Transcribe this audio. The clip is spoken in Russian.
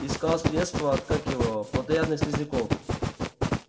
искал средство от как его плотоядных слизняков